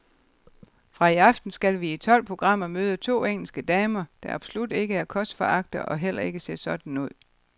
Fra i aften skal vi i tolv programmer møde to engelske damer, der absolut ikke er kostforagtere og heller ikke ser sådan ud.